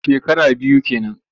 Shekara biyu ke nan.